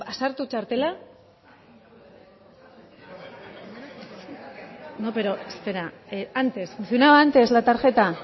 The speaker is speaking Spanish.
sartu txartela no pero espera antes funcionaba antes la tarjeta